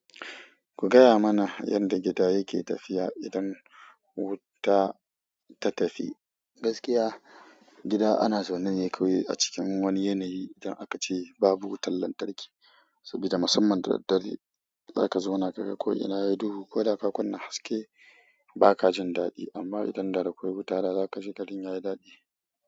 Ku gaya mana yadda gida yake tafiya idan wuta ta tafi. Gaskiya gida ana zaune ne kawai a cikin wani yanayi idan aka ce babu wutar lantarki. Saboda musamman da dare za ka zauna ka ga ko ina yayi duhu ko da ka kunna haske ba ka jin daɗi amma idan da akwai wuta za ka ji gari yayi daɗi.